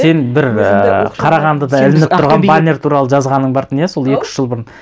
сен бір і қарағандыда ілініп тұрған баннер туралы жазғаның бартын иә сол екі үш жыл бұрын